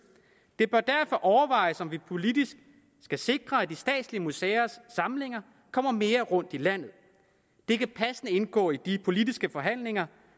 det bør derfor overvejes om vi politisk skal sikre at de statslige museers samlinger kommer mere rundt i landet det kan passende indgå i de politiske forhandlinger